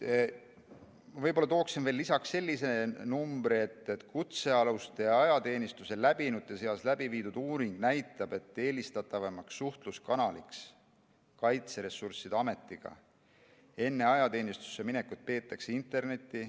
Võib-olla toon veel lisaks sellise numbri, et kutsealuste ja ajateenistuse läbinute seas tehtud uuring näitab, et eelistatavaimaks Kaitseressursside Ametiga suhtlemise kanaliks enne ajateenistusse minekut peetakse internetti.